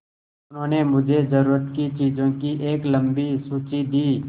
उन्होंने मुझे ज़रूरत की चीज़ों की एक लम्बी सूची दी